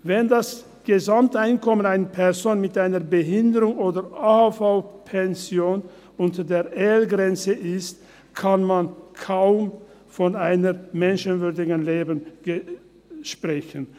Wenn das Gesamteinkommen einer Person mit einer Behinderung oder AHV-Rente unter der EL-Grenze ist, kann man kaum von einem menschenwürdigen Leben sprechen.